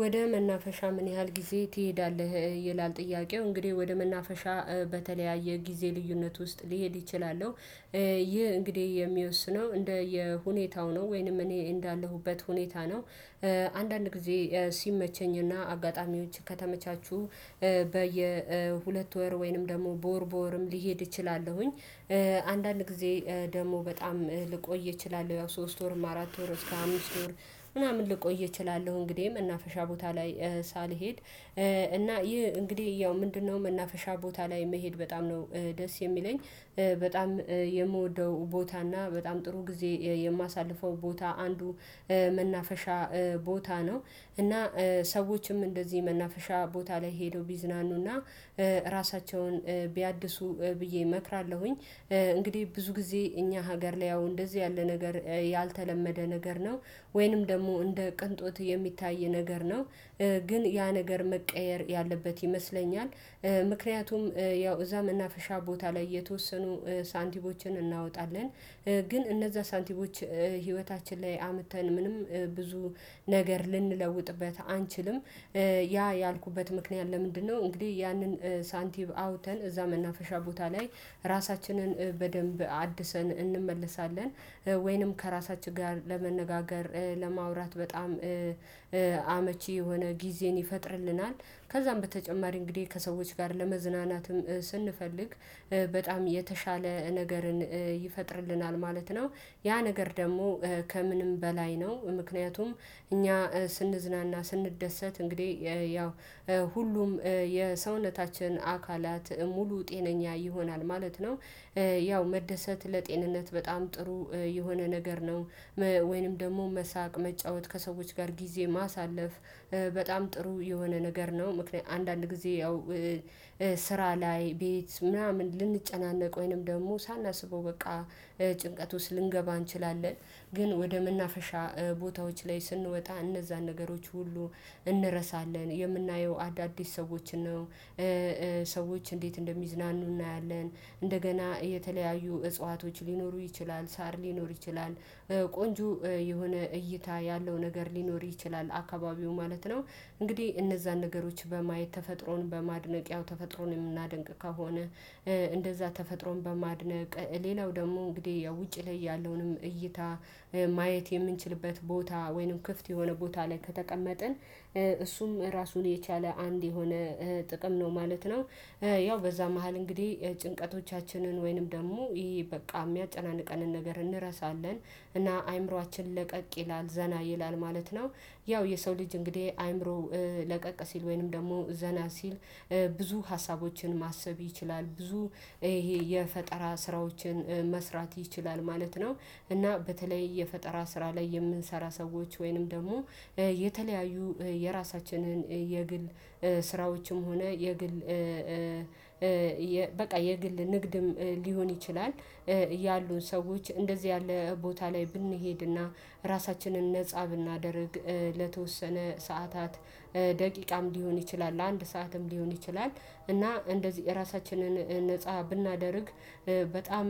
ወደ መናፈሻ ምን ያህል ጊዜ ትሄዳለህ? ይላል ጥያቄው እንግዲህ ወደ መናፈሻ በተለያየ ጊዜ ልዩነት ውስጥ ሊሄድ ይችላለሁ። ይህ እንግዲህ የሚወስነው እንደየ ሁኔታው ነው ወይንም እኔ እንዳለሁበት ሁኔታ ነው። አንዳንድ ጊዜ ሲመቸኝና አጋጣሚዎች ከተመቻቹ በየሁለት ወር ወይንም ደግሞ በወር በወርም ሊሄድ እችላለሁኝ። አንዳንድ ጊዜ ደግሞ በጣም ልቆይ እችላለሁ ያው ሶስት ወር አራት ወር እስከ አምስት ወር ምናምን ልቆይ እችላለሁ። እንግዲህ እና ፈሻ ቦታ ላይ ሳልሄድ እና ይህ እንግዲህ ያው ምንድነው መናፈሻ ቦታ ላይ መሄድ በጣም ነው ደስ የሚለኝ። በጣም የምወደው ቦታና በጣም ጥሩ ጊዜ የማሳልፈው ቦታ አንዱ መናፈሻ ቦታ ነው። እና ሰዎችም እንደዚህ መናፈሻ ቦታ ላይ ሄደው ቢዝናኑና ራሳቸውን ቢያድሱ ብዬ እመክራለሁኝ። እንግዲህ ብዙ ጊዜ እኛ ሀገር ላይ ያው እንደዚህ ያለ ነገር ያልተለመደ ነገር ነው ወይንም ደግሞ እንደ ቅንጦት የሚታይ ነገር ነው። ግን ያ ነገር መቀየር ያለበት ይመስለኛል። ምክንያቱም ያው እዛ መናፈሻ ቦታ ላይ የተወሰኑ ሳንቲሞችን እናወጣለን። ግን እነዛ ሳንቲሞች ህይወታችን ላይ አምተን ምንም ብዙ ነገር ልንለውጥበት አንችልም። ያ ያልኩበት ምክንያት ለምንድነው? እንግዲህ ያንን ሳንቲም አውተን እዛ መናፈሻ ቦታ ላይ ራሳችንን በደንብ አድሰን እንመለሳለን። ወይንም ከራሳችን ጋር ለመነጋገር ለማውራት በጣም አመቺ የሆነ ጊዜን ይፈጥርልናል። ከዛም በተጨማሪ እንግዲህ ከሰዎች ጋር ለመዝናናትም ስንፈልግ በጣም የተሻለ ነገርን ይፈጥርልናል ማለት ነው። ያ ነገር ደግሞ ከምንም በላይ ነው ምክንያቱም እኛ ስንዝናና ስንደሰት እንግዲህ ያው ሁሉም የሰውነታችን አካላት ሙሉ ጤነኛ ይሆናል ማለት ነው። ያው መደሰት ለጤንነት በጣም ጥሩ የሆነ ነገር ነው። ወይንም ደግሞ መሳቅ መጫወት ከሰዎች ጋር ጊዜ ማሳለፍ በጣም ጥሩ የሆነ ነገር ነው። ምክንያ አንዳንድ ጊዜ ያው ስራ ላይ ቤት ምናምን ልንጨናነቅ ወይንም ደግሞ ሳናስበው በቃ ጭንቀት ውስጥ ልንገባ እንችላለን። ግን ወደ ምናፈሻ ቦታዎች ላይ ስንወጣ እነዛን ነገሮች ሁሉ እንረሳለን የምናየው አዳዲስ ሰዎችን ነው። እንዴት እንደሚዝናኑ እናያለን። እንደገና የተለያዩ እጽዋቶች ሊኖሩ ይችላል ሳር ሊኖር ይችላል ቆንጆ የሆነ እይታ ያለው ነገር ሊኖር ይችላል አካባቢው ማለት ነው። እንግዲህ እነዛን ነገሮች በማየት ተፈጥሮን በማድነቅ ያው ተፈጥሮን የምናደንቅ ከሆነ። እንደዛ ተፈጥሮን በማድነቅ ሌላው ደግሞ እንግዲህ ያው ውጪ ላይ ያለውንም እይታ ማየት የምንችልበት ቦታ ወይንም ክፍት የሆነ ቦታ ላይ ከተቀመጥን እሱም ራሱን የቻለ አንድ የሆነ ጥቅም ነው ማለት ነው። ያው በዛ መሃል እንግዲህ ጭንቀቶቻችንን ወይንም ደግሞ ይሄ በቃ የሚያጨናንቀንን ነገር እንረሳለን። እና አይምሮአችን ለቀቅ ይላል ዘና ይላል ማለት ነው። ያው የሰው ልጅ እንግዲህ አይምሮ ሲል ወይንም ደግሞ ዘና ሲል ብዙ ሀሳቦችን ማሰብ ይችላል ብዙ ይሄ የፈጠራ ስራዎችን መስራት ይችላል ማለት ነው። እና በተለይ የፈጠራ ስራ ላይ የምንሰራ ሰዎች ወይንም ደግሞ የተለያዩ የራሳችንን የግል ስራዎችም ሆነ የግል በቃ የግል ንግድም ሊሆን ይችላል። ያሉን ሰዎች እንደዚህ ያለ ቦታ ላይ ብንሄድና ራሳችንን ነፃ ብናደርግ ለተወሰነ ሰዓታት ደቂቃም ሊሆን ይችላል ለአንድ ሰዓትም ሊሆን ይችላል። እና እንደዚህ ራሳችንን ነፃ ብናደርግ በጣም